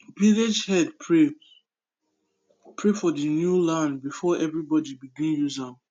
village head pray pray for the new land before everybody begin use am